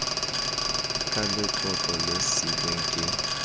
ka letlotlo le siilweng ke